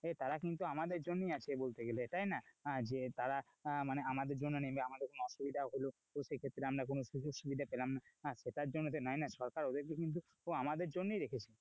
তারা কিন্তু আমাদের জন্যই আসে বলতে গেলে তাই না যে তারা আমাদের জন্য আমারে কোন অসুবিধা হলো, তো সেই ক্ষেত্রে আমরা কোনো সুযোগ সুবিধা পেলাম না সেটার জন্য তো নোই না, সরকার ওদেরকে কিন্তু আমাদের জন্যই রেখেছে,